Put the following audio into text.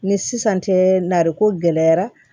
Ni sisan tɛ nariko gɛlɛyara